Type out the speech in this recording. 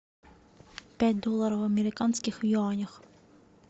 пять долларов американских в юанях